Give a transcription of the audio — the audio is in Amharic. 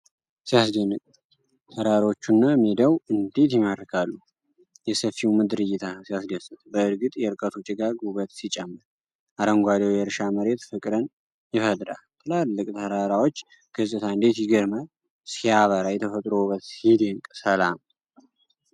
ሲያስደንቅ! ተራራዎቹና ሜዳው እንዴት ይማርካሉ! የሰፊው ምድር እይታ ሲያስደስት! በእርግጥ የርቀቱ ጭጋግ ውበት ሲጨምር! አረንጓዴው የእርሻ መሬት ፍቅርን ይፈጥራል! የትላልቅ ተራራዎች ገፅታ እንዴት ይገርማል! ሲያበራ! የተፈጥሮ ውበት ሲደነቅ! ሰላም!